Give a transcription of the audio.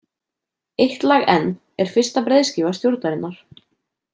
Eitt lag enn er fyrsta breiðskífa Stjórnarinnar.